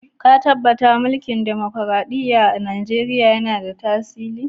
Ka tabatta mulki'n dimokuradiyya'n a'Nijeriya yanna tasiri?